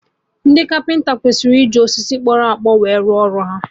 Ndị kapịnta ekwesị iji osisi kpọrọ akpọ we rụọ ọrụ ha